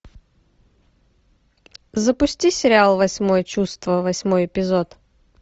запусти сериал восьмое чувство восьмой эпизод